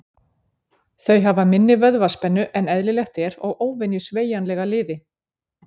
Þau hafa minni vöðvaspennu en eðlilegt er og óvenju sveigjanlega liði.